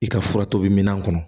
I ka fura tobi minan kɔnɔ